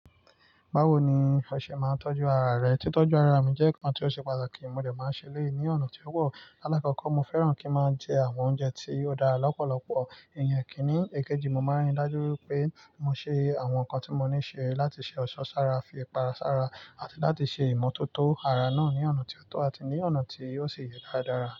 Báwo ni ọṣẹ máa ń tọ́jú ara rẹ? Tí tọ́jú ara mi jẹ́ nǹkan tí ó ṣe pàtàkì, mo lè máa ń ṣe léèyi ni ọ̀nà tí ó wọ́pọ̀. Láàkọ́kọ́, mo fẹ́ràn kí ń máa jẹ àwọn oúnjẹ tí óò dára lọ́pọ̀lọpọ̀ iyen ikíní. Èkejì, mo máa ń rí i dájú pé mo ṣe àwọn nǹkan tí mo níṣe láti ṣe ọ̀ṣọ́ sára, fi ipara sára àti láti ṣe ìmọ́tótó ara náà ní ọ̀nà tí ó tọ́ àti ní ọ̀nà tí óò sì yẹ dáradára.